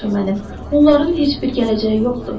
Onların heç bir gələcəyi yoxdur.